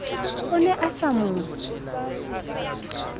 o ne a sa mo